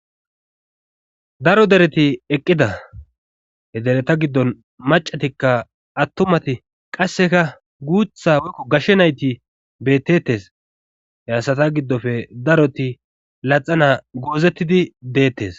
Daro dereti eqqida hedereta giddon macatikka attumati qasseka guutha woykko gashshe nayti beettettes he asata giddofe daroti laxana goozettidi deettes